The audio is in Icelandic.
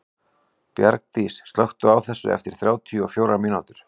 Bjargdís, slökktu á þessu eftir þrjátíu og fjórar mínútur.